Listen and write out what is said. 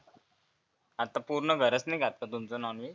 आता पुर्ण घरच नाही खात का तुमचं नॉनव्हेज